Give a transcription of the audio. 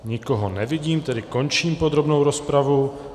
Nikoho nevidím, tedy končím podrobnou rozpravu.